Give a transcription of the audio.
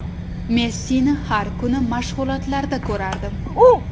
Messini har kuni mashg‘ulotlarda ko‘rardim.